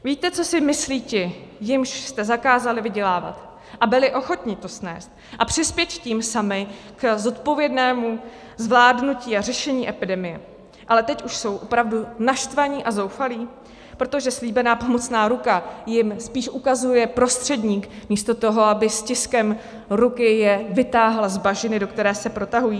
Víte, co si myslí ti, jimž jste zakázali vydělávat, a byli ochotni to snést a přispět tím sami k zodpovědnému zvládnutí a řešení epidemie, ale teď už jsou opravdu naštvaní a zoufalí, protože slíbená pomocná ruka jim spíš ukazuje prostředník místo toho, aby stiskem ruky je vytáhla z bažiny, do které se protahují?